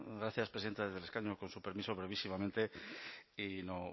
gracias presidenta desde el escaño con su permiso brevísimamente y no